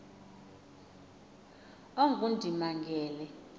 ongundimangele